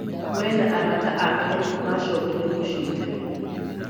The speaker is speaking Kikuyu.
We na arata ake maacokire mũciĩ tene